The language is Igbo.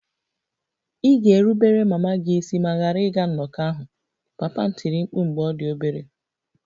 Ị ga-erubere mama gị isi ma ghara ịga nnọkọ ahụ! Papa m tiri mkpu mgbe ọ dị obere